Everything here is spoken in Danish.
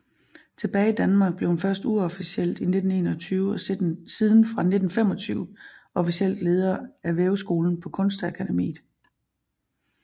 Tilbage i Danmark blev hun først uofficielt i 1921 og siden fra 1925 officielt leder af af Væveskolen på Kunstakademiet